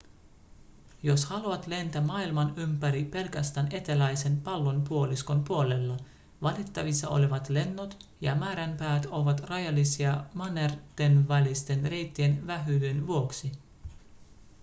jos haluat lentää maailman ympäri pelkästään eteläisen pallonpuoliskon puolella valittavissa olevat lennot ja määränpäät ovat rajallisia mannertenvälisten reittien vähyyden vuoksi